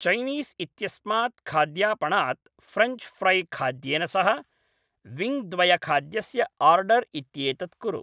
Chinese इत्यस्मात् खाद्यापणात् French फ़्रैखाद्येन सह विङ्ग् द्वयखाद्यस्य आर्डर् इत्येतत् कुरु